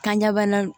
Kan ɲɛbana